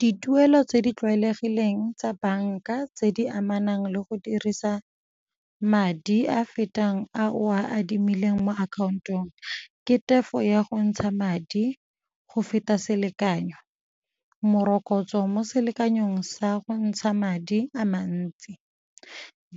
Dituelo tse di tlwaelegileng tsa banka tse di amanang le go dirisa madi a fetang a o a adimileng mo akhaontong ke tefo ya go ntsha madi go feta selekanyo, morokotso mo selekanyong sa go ntsha madi a mantsi.